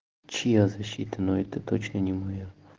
чья защита но это точно не моё